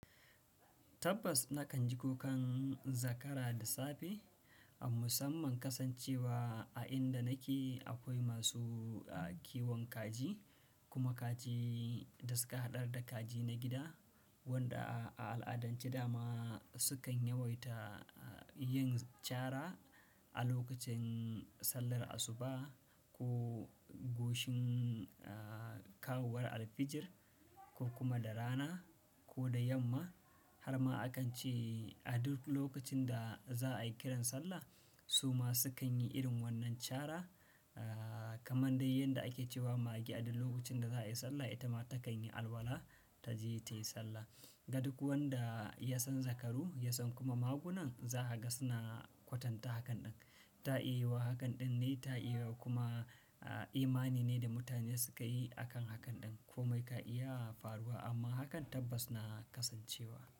Tabbas nakan ji kukan zakara da safe a musamman kasancewa a inda nake akwai masu kiwon kaji kuma kaji da suka haɗar da kaji na gida waɗanda a al'adance dama sukan yawaita yin cara a lokacin sallar asuba ko goshin kawowar alfijir ko kuma da rana ko da yamma har ma akan ce a duk lokacin da za'a yi kiran sallah su ma sukan yi irin wannan cara kamar dai yadda ake cewa mage a duk lokacin da za'a yi sallah ita ma takan yi alwala ta je ta yi sallah. Ga duk wanda ya san zakaru ya san kuma magunan zahaga suna kwatanta hakan ɗin ta'iya yiwuwa. Hakan ɗin ne ta iya yiwuwa kuma imani ne da mutane suka yi a kan hakan ɗin komai ka iya faruwa amma hakan tabbas na kasancewa.